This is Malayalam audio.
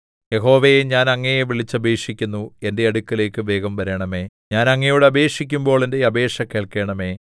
യഹോവേ ഞാൻ അങ്ങയെ വിളിച്ചപേക്ഷിക്കുന്നു എന്റെ അടുക്കലേക്ക് വേഗം വരണമേ ഞാൻ അങ്ങയോട് അപേക്ഷിക്കുമ്പോൾ എന്റെ അപേക്ഷ കേൾക്കണമേ